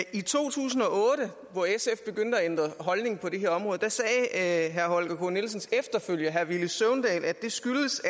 i to tusind og otte hvor sf begyndte at ændre holdning på det her område sagde herre holger k nielsens efterfølger herre villy søvndal at det skyldtes